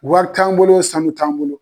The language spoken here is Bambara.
Wari t'an bolo sanu t'an bolo.